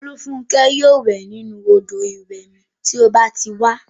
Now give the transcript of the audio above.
Olúfúnkẹ́ yóò wẹ̀ nínu odò ìwẹ̀ mi tí ó bá ti wá